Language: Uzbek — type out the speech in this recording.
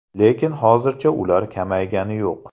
Lekin hozircha ular kamaygani yo‘q.